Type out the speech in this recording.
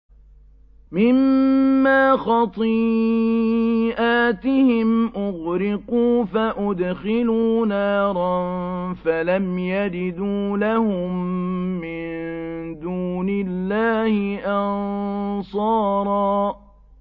مِّمَّا خَطِيئَاتِهِمْ أُغْرِقُوا فَأُدْخِلُوا نَارًا فَلَمْ يَجِدُوا لَهُم مِّن دُونِ اللَّهِ أَنصَارًا